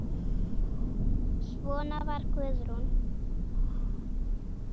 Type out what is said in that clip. Svona var Guðrún.